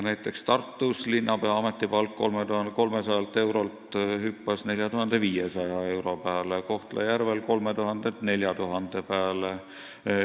Näiteks Tartus hüppas linnapea ametipalk 3300 eurolt 4500 euro peale ja Kohtla-Järvel 3000-lt 4000 peale.